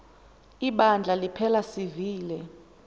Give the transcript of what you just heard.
ibandla liphela sivile